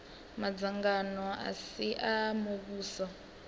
madzangano a si a muvhuso